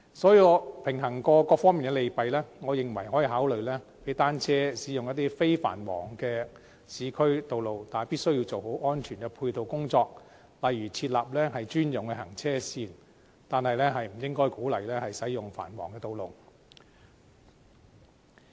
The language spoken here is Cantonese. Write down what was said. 所以，經平衡各方面的利弊，我認為可以考慮讓單車駕駛者使用一些非繁忙的市區道路，但必須做好安全配套工作，例如設立專用行車線，但不應該鼓勵他們使用繁忙的道路。